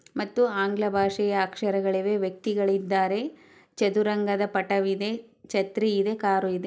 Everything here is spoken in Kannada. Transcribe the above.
ಮತ್ತು ಆಂಗ್ಲ ಭಾಷೆಯ ಅಕ್ಷರಗಳಿವೆ ವ್ಯಕ್ತಿಗಳು ಇದ್ದಾರೆ ಚದುರಂಗದ ಪಟವಿದೆ ಛತ್ರಿ ಇದೆ ಕಾರು ಇದೆ